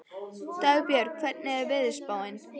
Dagbjörg, hvernig er veðurspáin?